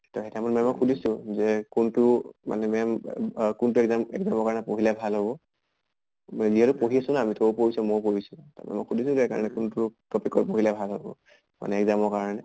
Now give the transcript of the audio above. শুনিছো যে কোনটো মানে ma'am আহ কোনটো exam exam ৰ কাৰণে পঢ়িলে ভাল হʼব । মই যিহেতু পঢ়ি আছো না আমি তয়ো পঢ়িছʼ ময়ো পঢ়িছো। ত সুধিছো যে সেই কাৰণে কোনটো topic ত পঢ়িলে ভাল হʼব। মানে exam ৰ কাৰণে।